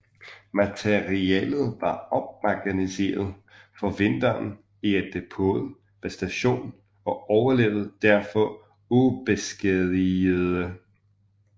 Materiellet var opmagasineret for vinteren i et depot ved stationen og overlevede derfor ubeskadigede